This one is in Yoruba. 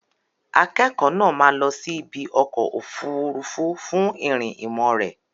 Akẹ́kọ̀ọ́ náà máa lọ sí ibi ọkọ̀ òfuurufú fún ìrìn ìmọ̀ rẹ̀.